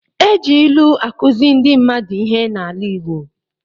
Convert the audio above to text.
E ji ilu akuzi ndị mmadụ ihe n'ala igbo.